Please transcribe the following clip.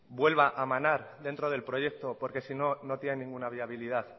vuelva a manar dentro del proyecto porque sino no tiene ninguna viabilidad